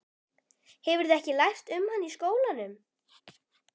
Hefurðu ekki lært um hann í skólanum?